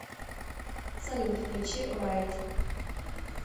салют включи райд